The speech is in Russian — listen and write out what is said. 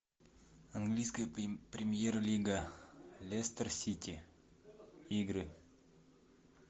английская премьер лига лестер сити игры